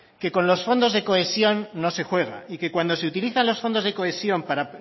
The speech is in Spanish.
que con los fondos de cohesión no se juega y que cuando se utilizan los fondos de cohesión para